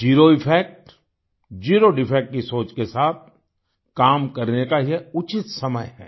ज़ेरो effect zero defect की सोच के साथ काम करने का ये उचित समय है